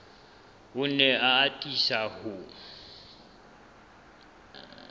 o ne a atisa ho